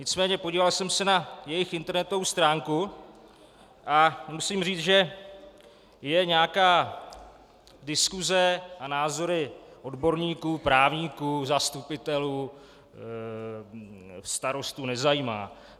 Nicméně podíval jsem se na jejich internetovou stránku a musím říci, že je nějaká diskuse a názory odborníků, právníků, zastupitelů, starostů nezajímá.